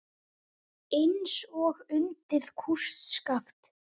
Eins og undið kústskaft.